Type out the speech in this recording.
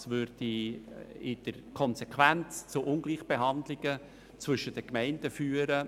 Es würde in der Konsequenz zu Ungleichbehandlungen zwischen den Gemeinden führen.